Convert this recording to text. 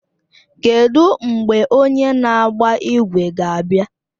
Kedụ mgbe onye na-agba ígwè ga-abịa?